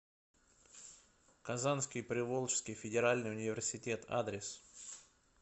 казанский приволжский федеральный университет адрес